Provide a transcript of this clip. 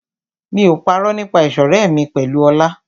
Mi ò parọ́ nípa ìṣọ̀rẹ́ mi pẹ̀lú Ọlá.